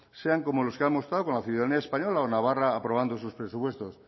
sean como los que ha mostrado con la ciudadanía española o navarra aprobando sus presupuestos